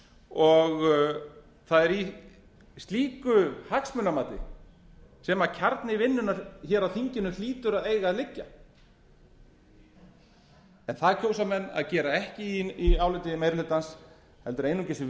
og það er í slíku hagsmunamati sem kjarni vinnunnar á þinginu hlýtur að eiga að liggja en það kjósa menn að gera ekki í áliti meiri hlutans heldur einungis